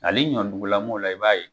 Ali ɲɔdugulamɔw la i b'a ye.